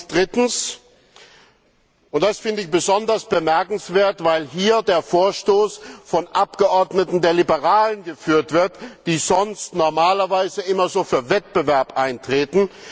Drittens Das finde ich besonders bemerkenswert, weil hier der Vorstoß von Abgeordneten der Liberalen geführt wird, die sonst normalerweise immer so für Wettbewerb eintreten.